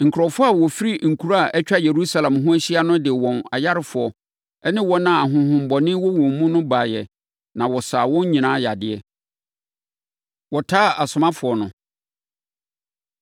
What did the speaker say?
Nkurɔfoɔ a wɔfifiri nkuro a atwa Yerusalem ho ahyia no de wɔn ayarefoɔ ne wɔn a ahonhommɔne wɔ wɔn mu no baeɛ na wɔsaa wɔn nyinaa yadeɛ. Wɔtaa Asomafoɔ No